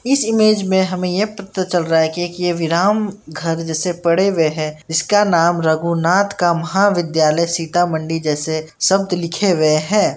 इस इमेज में हमें यह पता चल रहा है कि एक ये विराम घर जैसे पड़े हुए है जिसका नाम रघुनाथ का महाविद्यालय सीतामढ़ी जैसे शब्द लिखे हुए है।